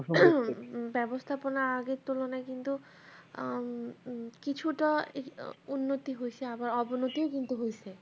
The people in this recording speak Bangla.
ব্যাবস্থাপনা আগের তুলনায় কিন্তু উম কিছুটা উন্নতি হয়েছে আবার অবনতিও হয়েছে